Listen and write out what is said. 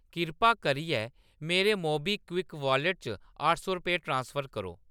किरपा करियै मेरे मोबीक्विक वाॅलेट च अट्ठ सौ रपेऽ ट्रांसफर करो।